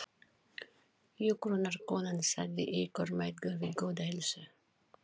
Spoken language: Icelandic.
Hjúkrunarkonan sagði ykkur mæðgur við góða heilsu.